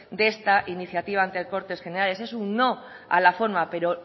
de esta iniciativa ante cortes generales es un no a la forma pero